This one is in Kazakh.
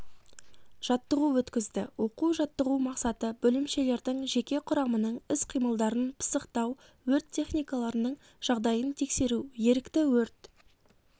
жаттығу өткізді оқу-жаттығу мақсаты бөлімшелердің жеке құрамының іс-қимылдарын пысықтау өрт техникаларының жағдайын тексеру ерікті өрт